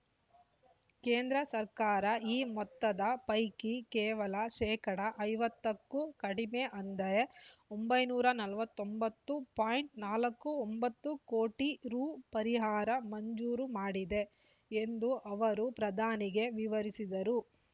ಕೇಂದ್ರ ಸರ್ಕಾರ ಈ ಮೊತ್ತದ ಪೈಕಿ ಕೇವಲ ಶೇಕಡಾ ಐವತ್ತಕ್ಕೂ ಕಡಿಮೆ ಅಂದರೆ ಒಂಬೈನೂರ ನಲವತ್ತೊಂಬತ್ತು ಪಾಯಿಂಟ್ ನಾಲ್ಕು ಒಂಬತ್ತು ಕೋಟಿ ರೂ ಪರಿಹಾರ ಮಂಜೂರು ಮಾಡಿದೆ ಎಂದು ಅವರು ಪ್ರಧಾನಿಗೆ ವಿವರಿಸಿದರು